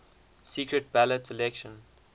secret ballot election